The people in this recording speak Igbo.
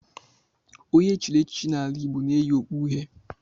Onye e chiri echichi n'ala Igbo na-eyi okpu uhie